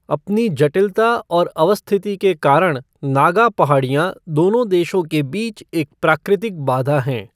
अपनी जटिलता और अवस्थिति के कारण नागा पहाड़ियाँ दोनों देशों के बीच एक प्राकृतिक बाधा हैं।